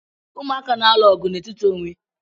Umụaka na-alụ ọgụ n'etiti onwe